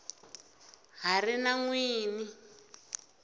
ha ri na n wini